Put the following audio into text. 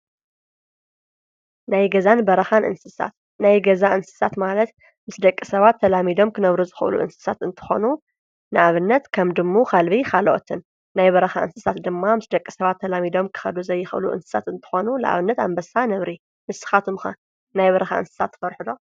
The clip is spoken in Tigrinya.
ናይ ገዛን በረኻን እንስሳት-ናይ ገዛ እንስሳት ማለት ምስ ደቂ ሰባት ተላሚዶም ክነብሩ ዝኽእሉ እንስሳት እንተኾይኑ ንኣብነት ከም ድሙ፣ ከልቢ ካልኦትን፡፡ ናይ በረኻ እንስሳት ድማ ምስ ደቂ ሰባት ተላሚዶም ክኸዱ ዘይኽእሉ እንስሳት እንተኾኑ ለኣብነት ኣንበሳ፣ ነብሪ፡፡ ንስኻትኩም ከ ናይ በርኻ እንስሳት ትፈርሑ ዶ?